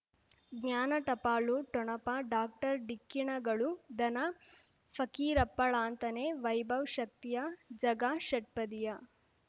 ಜ್ಞಾನ ಟಪಾಲು ಠೊಣಪ ಡಾಕ್ಟರ್ ಢಿಕ್ಕಿ ಣಗಳು ಧನ ಫಕೀರಪ್ಪ ಳಂತಾನೆ ವೈಭವ್ ಶಕ್ತಿಯ ಝಗಾ ಷಟ್ಪದಿಯ